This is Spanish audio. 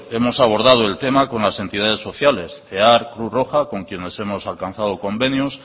hemos abordado el tema con las entidades sociales cear cruz roja con quienes hemos alcanzado convenios